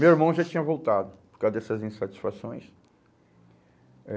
Meu irmão já tinha voltado por causa dessas insatisfações. Eh